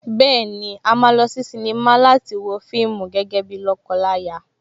Bẹ́ẹ̀ni, a máa lọ sí sínímà láti lọ wo fíìmù gẹ́gẹ́ bíi lọ́kọ láya